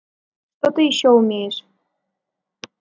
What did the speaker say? что ты ещё умеешь